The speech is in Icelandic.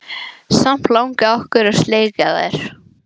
Samt langi okkur að sleikja þær.